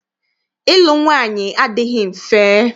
Ịlụ nwaanyị adịghị mfe.